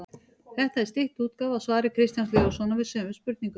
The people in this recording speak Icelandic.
Þetta er stytt útgáfa af svari Kristjáns Leóssonar við sömu spurningu.